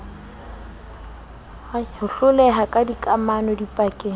ho hloleha ha dikamano dipakeng